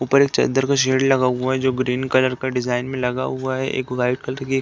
ऊपर एक चद्दर का शेड लगा हुआ है जो ग्रीन कलर का डिजाइन में लगा हुआ है। एक व्हाइट कलर की --